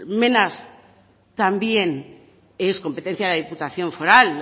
también es competencia de la diputación foral